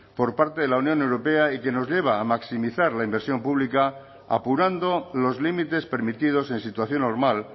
por parte de la unión europea y que nos lleva a maximizar la inversión pública apurando los límites permitidos en situación normal